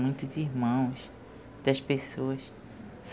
Muitos irmãos, das pessoas.